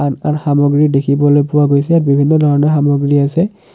সা সামগ্ৰী দেখিবলৈ পোৱা গৈছে বিভিন্ন ধৰণৰ সামগ্ৰী আছে।